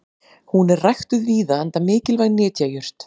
Hún er ræktuð víða enda mikilvæg nytjajurt.